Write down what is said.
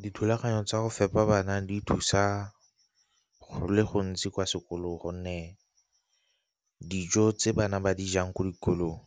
Dithulaganyo tsa go fepa bana di thusa go le gontsi kwa sekolong gonne dijo tse bana ba di jang ko dikolong